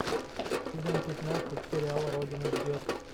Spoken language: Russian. сезон пятнадцать сериала родина ждет